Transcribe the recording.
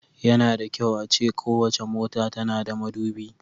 Yana da kyau a ce kowace mota tana da madubi.